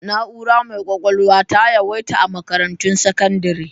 Na'urar mai kwakwalwa ta yawaita a makarantun sakandire